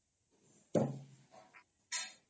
noise